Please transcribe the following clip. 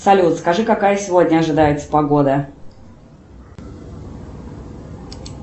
салют скажи какая сегодня ожидается погода